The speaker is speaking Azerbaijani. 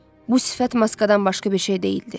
Bu sifət maskadan başqa bir şey deyildi.